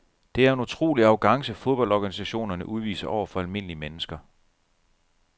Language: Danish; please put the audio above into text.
Det er en utrolig arrogance fodboldorganisationerne udviser over for almindelige mennesker.